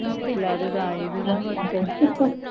இருந்தது இல்ல அதுதான் first time